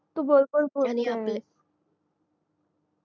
तू बरोबर बोलतेस